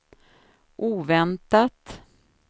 oväntat